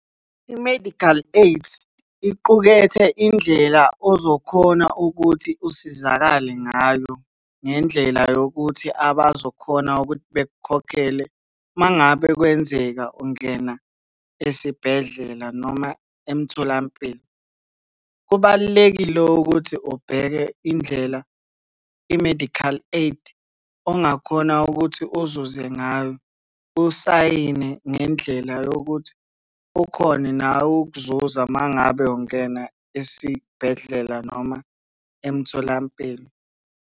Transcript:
I-medical aid iqukethe indlela ozokhona ukuthi usizakale ngayo, ngendlela yokuthi abazokhona ukuthi bekukhokhele uma ngabe kwenzeka ungena esibhedlela noma emtholampilo. Kubalulekile ukuthi ubheke indlela i-medical aid ongakhona ukuthi uzuze ngayo. Usayine ngendlela yokuthi ukhone nawe ukuzuza uma ngabe ungena esibhedlela noma emtholampilo.